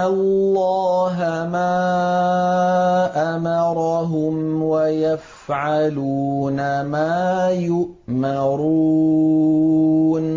اللَّهَ مَا أَمَرَهُمْ وَيَفْعَلُونَ مَا يُؤْمَرُونَ